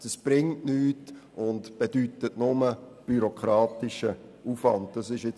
Es bringt nichts – es bringt nur bürokratischen Aufwand mit sich.